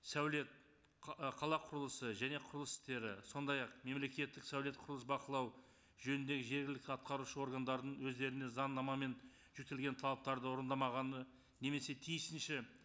сәулет ы қала құрылысы және құрылыс істері сондай ақ мемлекеттік сәулет құрылыс бақылау жөніндегі жергілікті атқарушы органдардың өздеріне заңнама мен жүктелген талаптарды орындамағанына немесе тиісінше